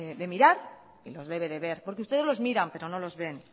debe de mirar y los debe de ver porque ustedes los miran pero no los ven